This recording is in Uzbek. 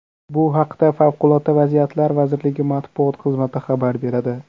Bu haqda Favqulodda vaziyatlar vazirligi matbuot xizmati xabar beradi .